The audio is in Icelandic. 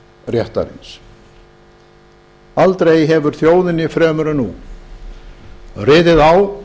réttarins aldrei hefir þjóðinni fremur en nú riðið á